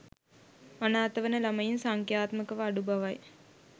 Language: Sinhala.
අනාථවන ළමයින් සංඛ්‍යාත්මකව අඩු බවයි.